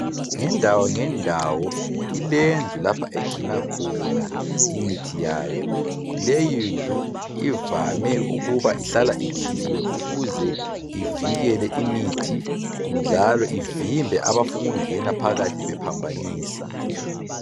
Ngendawo ngendawo ilendlu lapho egcina khona imithi yayo, leyi ndlu ivame ukuhlala ikhiyiwe ukuze ivikele imithi njalo ivimbe abafuna ukungena phakathi bephambanisa.